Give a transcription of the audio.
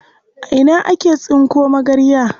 A ina ake tsinko magarya?